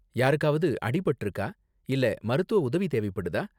யாருக்காவது அடி பட்டிருக்கா இல்ல மருத்துவ உதவி தேவைப்படுதா?